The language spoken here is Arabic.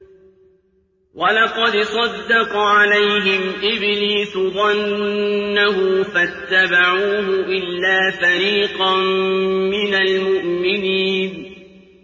وَلَقَدْ صَدَّقَ عَلَيْهِمْ إِبْلِيسُ ظَنَّهُ فَاتَّبَعُوهُ إِلَّا فَرِيقًا مِّنَ الْمُؤْمِنِينَ